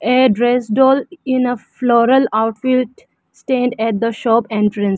a dress doll in a floral outfit stand at the shop entrance.